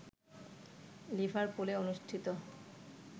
লিভারপুলে অনুষ্ঠিত